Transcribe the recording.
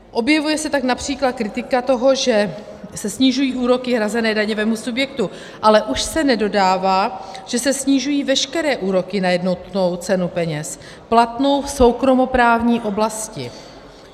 Objevuje se tak například kritika toho, že se snižují úroky hrazené daňovému subjektu, ale už se nedodává, že se snižují veškeré úroky na jednotnou cenu peněz platnou v soukromoprávní oblasti.